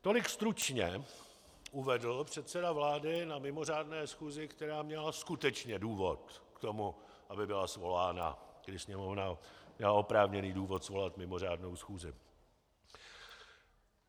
Tolik stručně uvedl předseda vlády na mimořádné schůzi, která měla skutečně důvod k tomu, aby byla svolána, kdy Sněmovna měla oprávněný důvod svolat mimořádnou schůzi.